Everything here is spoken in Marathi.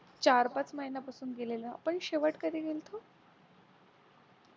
चार-पाच महिन्यांपासून गेलेलं आपण शेवट कधी गेलो होतो?